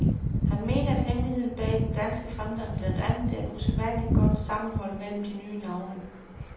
Han mener, at hemmeligheden bag den danske fremgang blandt andet er et usædvanligt godt sammenhold mellem de nye navne.